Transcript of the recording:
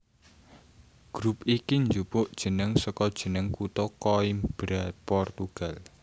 Grup iki njupuk jeneng saka jeneng kutha Coimbra Portugal